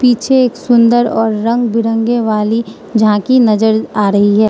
पीछे एक सुंदर और रंग बिरंगे वाली झांकी नजर आ रही है।